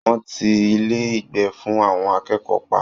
Wọ́n ti Ilé-ìgbé fún àwọn akẹ́kọ̀ọ́ pa